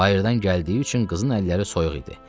Bayırdan gəldiyi üçün qızın əlləri soyuq idi.